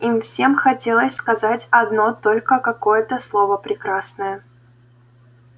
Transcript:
им всем хотелось сказать одно только какое-то слово прекрасное